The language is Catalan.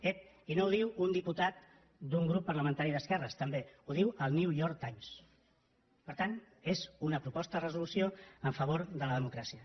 ep i no ho diu un diputat d’un grup parlamentari d’esquerres també ho diu el new york timesproposta de resolució en favor de la democràcia